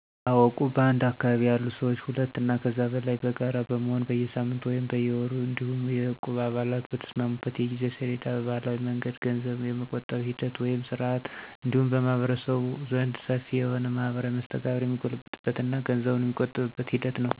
አዎ እቁብ በአንድ አካባቢ ያሉ ሰዎች ሁለት አና ከዚያ በላይ በጋራ በመሆን በየሳምንቱ ወይም በየወሩ እንዲሁም የእቁብ አባላቱ በተስማሙበት የጊዜ ሰሌዳ በባህላዊ መንገድ ገንዘብ የመቆጠብ ሂደት ወይም ስርዓት እንዲሁም በማህበረሰቡ ዘንድ ሰፊ የሆነ ማህበራዊ መስተጋብር የሚጎለብትበት እና ገንዘቡን የመቆጠብ ሂደት ነው።